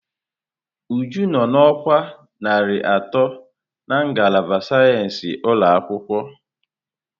Uju nọ na ọkwa narị atọ na ngalaba sayensị ụlọ ọgwụ.